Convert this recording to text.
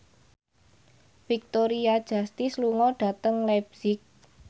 Victoria Justice lunga dhateng leipzig